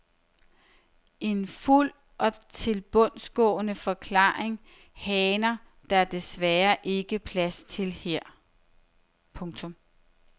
En fuld og tilbundsgående forklaring haner der desværre ikke plads til her. punktum